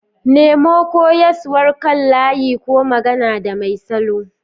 Nemo koyaswar kan layi ko magana da mai salo.